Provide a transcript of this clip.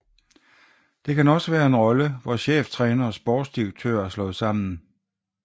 Det kan også være en rolle hvor cheftræner og sportsdirektør er slået sammen